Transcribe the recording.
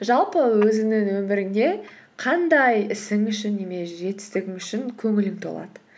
жалпы өзіңнің өміріңде қандай ісің үшін немесе жетістігің үшін көңілің толады